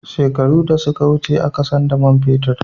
Shekaru da suka wuce a ka san da man fetir